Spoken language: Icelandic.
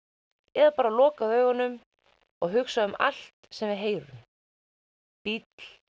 eða bara loka augunum og hugsa um allt sem við heyrum bíll